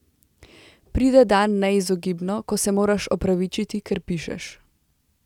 Pride dan, neizogibno, ko se moraš opravičiti, ker pišeš.